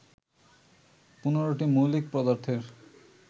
১৫টি মৌলিক পদার্থের